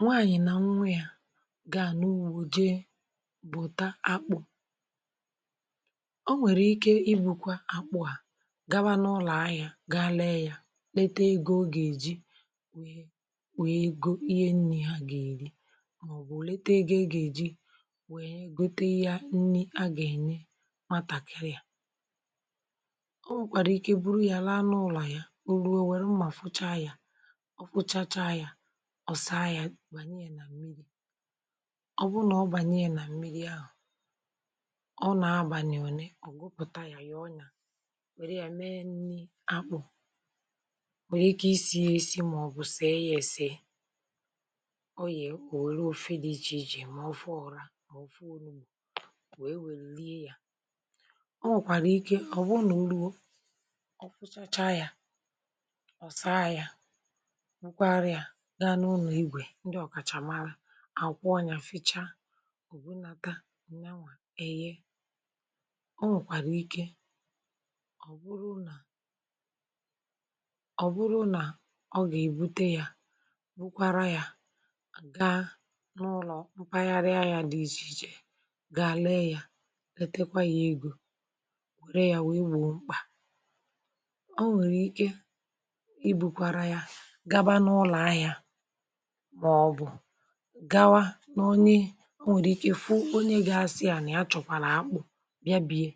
Nwaànyị̀ nà nnwè yà gà n’ụ̀bọ̀ jèe bụ̀tà akpụ̄, um ọ nwèrè ìké ì bụ̀kwa akpụ̄ à gàwà n’ụlọ̀. À yà gàa lée yà, lètè ego ọ gà-èjì nwè nwèé ego ìhè ńní ha gà-èrì, màọ̀bụ̀ lètè ego ị gà-èjì nwèé gòte ìhè a gà-ènyè, màtákịrị yà. Ọ nwèkwàrà ìké bụrụ́ yàrà n’ụlọ̀ à yà, òrụọ nwèrè mmà um, fùchà yà, ọ fùchàchá yà. Ọ bụ̀rù nà ọ bànyè yà nà mmìrì ahụ̀, ọ nà-agbàlị̀ ọ̀né, ọ̀ gụpụ̀tà yà. Yà nwèrè yà mèé ńní akpụ̄. Ọ nwèrè ìké ísì yà ísì, màọ̀bụ̀ sée yà èsè. Ọ yè òwèrò òfè dị iche-iche, mà ọ̀fụ ọ̀rà, mà ọ̀fụ ọ̀nụmà, wéé wèlì lìe yà. Ọ nwèkwàrà ìké ọ̀ bụ̀ nà ùrù ọ̀ fùsàchá yà, ọ̀ sàa yà, àkwọọ yà, fìchá um. Ọ̀ bụ̀rụ̀là tà nàanwà e yè, ọ nwèkwàrà ìké ọ̀ bụ̀rụ̀ nà ọ bụ̀rụ̀ nà ọ gà-èbùtè yà, bụ̀kwara yà gàa n’ụlọ̀ mpàkàrà yà dị iche-iche, gàa lée yà, lètèkwà yà egò, wèrè yà, wéé gbùo mkpà um. Ọ nwèrè ìké ì bụ̀kwara yà, màọ̀bụ̀ gàwà n’ònye. Ọ nwèrè ìké fù onye gị̄ asị à nà yà chọ̀kwàrà akpụ̄, bìa bìe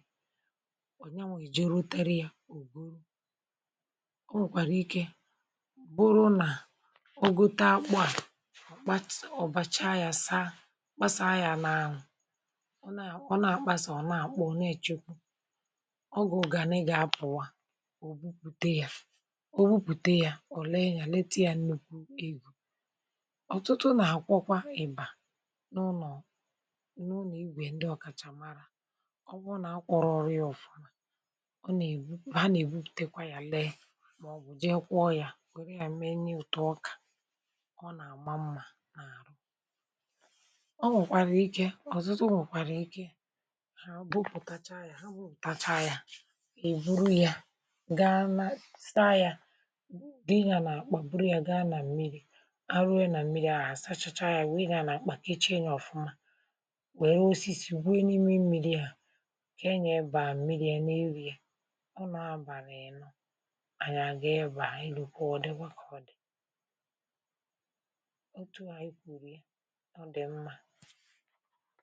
ọ̀. Yà nwèghìjí ròtèrè yà. Ọ̀ bụ̀rù ọ nwèkwàrà ìké bụ̀rù nà ọ gụtà akpụ̄ à, ọ̀ báchà yà, sàa kpàsàa yà n’anụ̄ um. Ọ nà, ọ nà-àkpàsà, ọ̀ nà-àkpọ, ọ̀ nà-èchèkwù. Ọ gà, ọ gà àné, gà-apụ̀wa. Ọ bùpụ̀tà yà, ọ bùpụ̀tà yà. Ọ̀ lénýà lètà yà ńnụ̀kwú egò, ọ̀tụtụ nà àkwọkwa ì̀bà n’ụlọ̀ n’ọlọ̀ ígwè ndị ọ̀kàchà màrà. Ọ bụ̀, ọ nà-akwọrọ ọrụ ị ànà-èbù, ọ nà-èbù, tèkwà yà, lée, màọ̀bụ̀ dì kwọ̀ yà. Nwèrè yà mè n’énýì ọ̀tù, ọkà ọ nà-àma mmà. Ọ nwèkwàrà ìké ọ̀tụtụ, nwèkwàrà ìké hà. Ọ bùpụ̀táchà yà, ha wụ̀táchà yà. Ì bụ̀rụ̀ yà gàa nà sàa yà, dị yà nà àkpà. Bụ̀rụ̀ yà gàa nà mmìrì, kpèché nyà ọ̀fụ̀ma, wèré ósìsì, wéé n’ìmè mmìrì yà, kà e nyè ebà mmìrì yà, n’èrí̄. Ọ nọ̀ abàlị̀, ịnọ̄ ànyị, à gà ebà ìnụ̀kwù. Ọ̀dị̀gwà kà ọ dì̀ otu à. Ì kwùru ọ dì̀ mmà.